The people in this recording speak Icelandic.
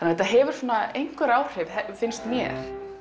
þetta hefur einhver áhrif finnst mér